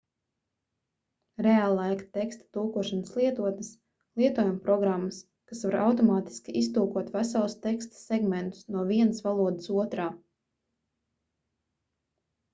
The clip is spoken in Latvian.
reāllaika teksta tulkošanas lietotnes lietojumprogrammas kas var automātiski iztulkot veselus teksta segmentus no vienas valodas otrā